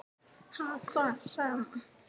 """Ha, hvað? sagði amma."""